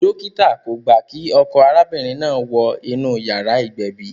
Dókítà kò gbà kí ọkọ arábìnrin náà wọ inú yàrá ìgbẹ̀bì